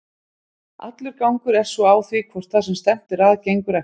Allur gangur er svo á því hvort það sem stefnt er að gengur eftir.